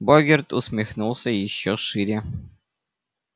богерт усмехнулся ещё шире